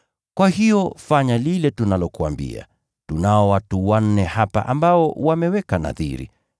Kwa hiyo fanya lile tunalokuambia. Tunao watu wanne hapa ambao wameweka nadhiri.